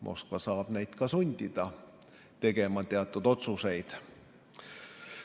Moskva saab neid ka sundida tegema teatud otsuseid.